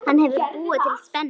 Hann hefur búið til spennu.